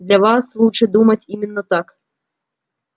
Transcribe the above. для вас лучше думать именно так